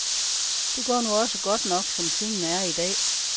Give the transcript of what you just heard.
Det går nu også godt nok, som tingene er i dag.